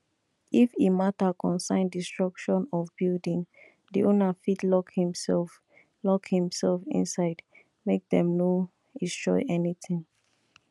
if e matter concern destruction of building the owner fit lock himself lock himself inside make them no estroy anything